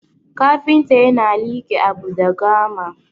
kafinta yana like Abu da gama